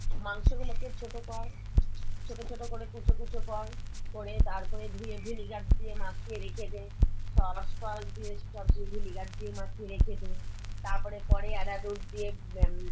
মাংসগুলোকে ছোট কর, ছোট ছোট করে কুচো কুচো কর করে তারপরে ধুয়ে vinegar দিয়ে মাখিয়ে রেখে দে, sauce ফস দিয়ে সব দিয়ে vinegar দিয়ে মাখিয়ে রেখে দে, তারপরে পরে এরারুট দিয়ে উম